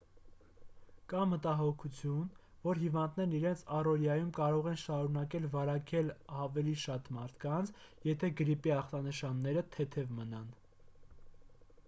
կա մտահոգություն որ հիվանդներն իրենց առօրյայում կարող են շարունակել վարակել ավելի շատ մարդկանց եթե գրիպի ախտանշանները թեթև մնան